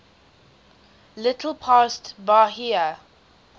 little past bahia